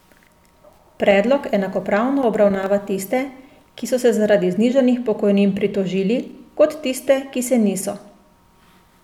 Predlog enakopravno obravnava tiste, ki so se zaradi znižanih pokojnin pritožili, kot tiste, ki se niso.